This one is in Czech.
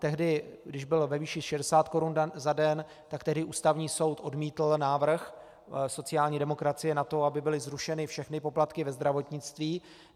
Tehdy když byl ve výši 60 korun za den, tak tehdy Ústavní soud odmítl návrh sociální demokracie na to, aby byly zrušeny všechny poplatky ve zdravotnictví.